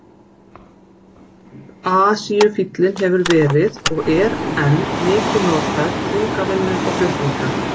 Asíufíllinn hefur verið og er enn mikið notaður til þungavinnu og flutninga.